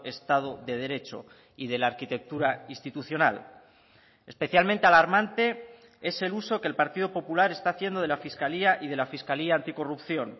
estado de derecho y de la arquitectura institucional especialmente alarmante es el uso que el partido popular está haciendo de la fiscalía y de la fiscalía anticorrupción